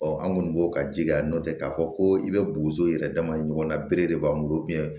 an kɔni b'o ka jija nɔntɛ k'a fɔ ko i bɛ boso yɛrɛ dama ɲɔgɔnna bere de b'an bolo